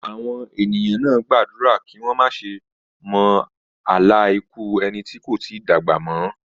Àwọn ènìyàn náà gbàdúrà kí wọ́n má ṣe mọ àlá ikú ẹni tí kò tí dàgbà mọ́.